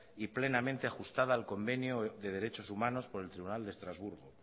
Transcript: y plenamente ajustada al convenio de derechos humanos por el tribunal de estrasburgo